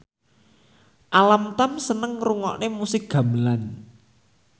Alam Tam seneng ngrungokne musik gamelan